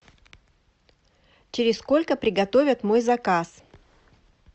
через сколько приготовят мой заказ